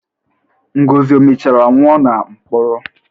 Ngozi o mechara nwụọ na mkpọrọ?